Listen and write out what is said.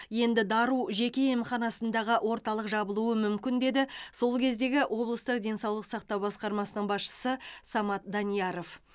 енді дару жеке емханасындағы орталық жабылуы мүмкін деді сол кездегі облыстық денсаулық сақтау басқармасының басшысы самат данияров